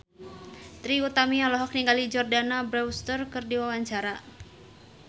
Trie Utami olohok ningali Jordana Brewster keur diwawancara